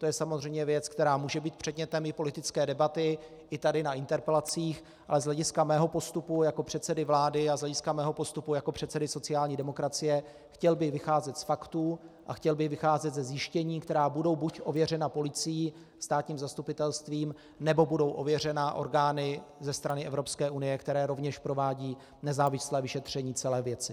To je samozřejmě věc, která může být předmětem i politické debaty i tady na interpelacích, ale z hlediska mého postupu jako předsedy vlády a z hlediska mého postupu jako předsedy sociální demokracie chtěl bych vycházet z faktů a chtěl bych vycházet ze zjištění, která budou buď ověřena policií, státním zastupitelstvím, nebo budou ověřena orgány ze strany Evropské unie, které rovněž provádí nezávislé vyšetření celé věci.